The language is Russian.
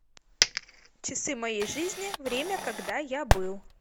часы моей жизни время когда я был